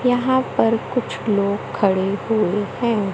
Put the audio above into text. यहां पर कुछ लोग खड़े हुए हैं।